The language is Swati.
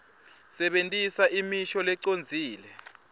sebentisa imisho lecondzile